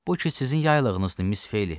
Bu ki sizin yaylığınızdır, Miss Ofeliya.